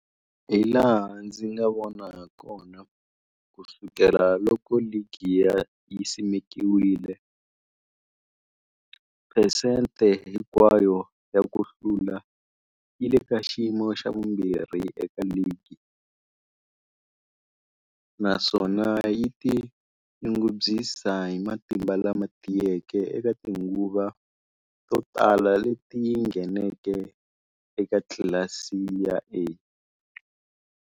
Hilaha ndzi nga vona hakona, ku sukela loko ligi yi simekiwile, 1950, phesente hinkwayo ya ku hlula yi le ka xiyimo xa vumbirhi eka ligi, naswona yi tinyungubyisa hi matimba lama tiyeke eka tinguva to tala leti yi ngheneke eka tlilasi ya A.